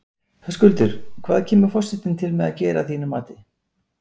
Höskuldur, hvað kemur forsetinn til með að gera að þínu mati?